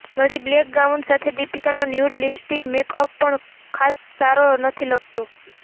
વળી black gown સાથે દીપિકાનો ન્યૂડ લિપસ્ટિક મેકઅપ પણ ખાસ સારો નથી લગતો